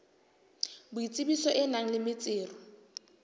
boitsebiso e nang le metsero